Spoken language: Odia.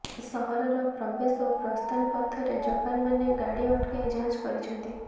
ସହରର ପ୍ରବେଶ ଓ ପ୍ରସ୍ଥାନ ପଥରେ ଯବାନମାନେ ଗାଡ଼ି ଅଟକାଇ ଯାଞ୍ଚ କରିଛନ୍ତି